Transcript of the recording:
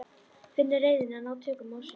Finnur reiðina ná tökum á sér.